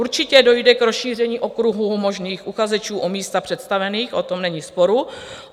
Určitě dojde k rozšíření okruhu možných uchazečů o místa představených, o tom není sporu.